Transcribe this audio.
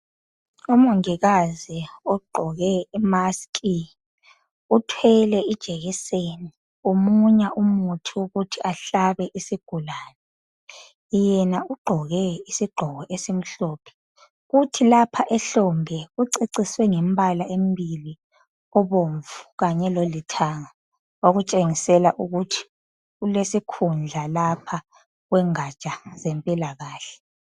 Umongikazi ogqoke isayeke uthwele ijekiseni umunya umuthi wokuhlaba isigulane. Yena ugqoke isigqoko esimhlophe kuthi ehlombe uceciswe ngemibala emibili obomvu lolithanga okutshengisa ukuthi ulesikhundla kwezempilakahle.